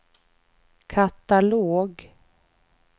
katalog